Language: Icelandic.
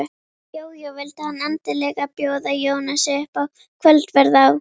Jójó, vildi hann endilega bjóða Jónasi upp á kvöldverð á